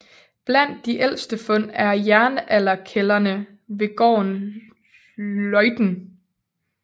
Blandt de ældste fund er jernalderkældrene ved gården Løgten